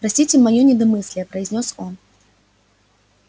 простите моё недомыслие произнёс он